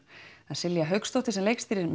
það er Silja Hauksdóttir sem leikstýrir